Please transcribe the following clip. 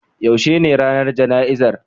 Yaushe ne ranar jana'izar?